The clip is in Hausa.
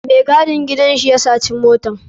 Mai gadin gidan shi ya saci motan.